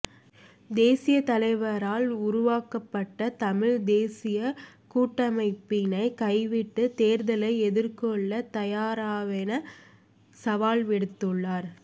தேசிய தலைவரால் உருவாக்கப்பட்ட தமிழ் தேசிய கூட்டமைப்பினை கைவிட்டு தேர்தலை எதிர்கொள்ள தயாராவென சவால் விடுத்துள்ளார்